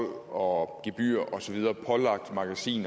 og så videre pålagt magasiner